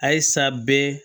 Ayisa bɛ